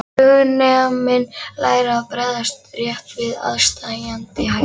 Flugneminn lærir að bregðast rétt við aðsteðjandi hættum.